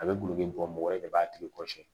A bɛ gulɔ min bɔ mɔgɔ ye ne b'a tigi kɔrɔ siyɛn